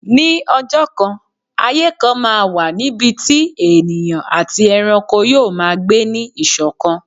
Ní ọjọ́ kan, ayé kan máa wà níbi tí ènìyàn àti ẹranko yoo maa gbé ní ìṣọ̀kan.